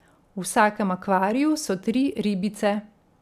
V vsakem akvariju so tri ribice.